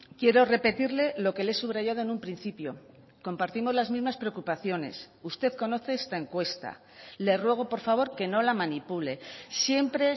quiero repetirle lo que le he subrayado en un principio compartimos las mismas preocupaciones usted conoce esta encuesta le ruego por favor que no la manipule siempre